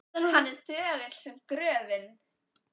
Hann er þögull sem gröfin.